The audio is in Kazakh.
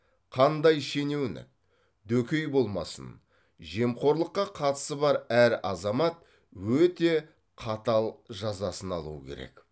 қандай шенеунік дөкей болмасын жемқорлыққа қатысы бар әр азамат өте қатал жазасын алуы керек